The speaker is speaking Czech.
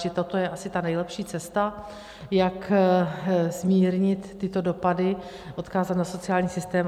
Čili toto je asi ta nejlepší cesta, jak zmírnit tyto dopady, odkázat na sociální systém.